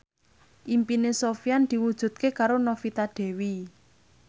impine Sofyan diwujudke karo Novita Dewi